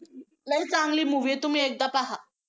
लई चांगली movie आहे, तुम्ही एकदा पहा.